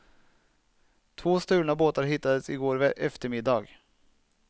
Två stulna båtar hittades igår eftermiddag.